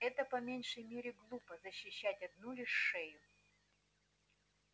это по меньшей мере глупо защищать одну лишь шею